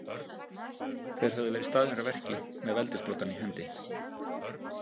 Þeir höfðu verið staðnir að verki með veldissprotann í hendi.